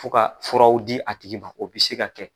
Fo ka furaw di a tigi ma o bɛ se ka kɛ